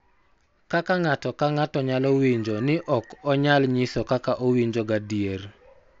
Kaka ng�ato ka ng�ato nyalo winjo ni ok onyal nyiso kaka owinjo gadier .